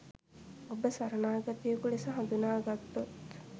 ඔබ සරණාගතයෙකු ලෙස හඳුනාගත්තොත්